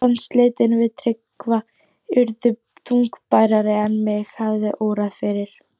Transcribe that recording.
Sambandsslitin við Tryggva urðu þungbærari en mig hafði órað fyrir.